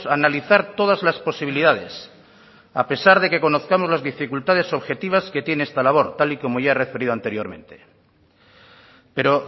analizar todas las posibilidades a pesar de que conozcamos las dificultades objetivas que tiene esta labor tal y como ya he referido anteriormente pero